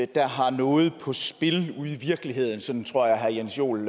der har noget på spil ude i virkeligheden sådan tror jeg at herre jens joel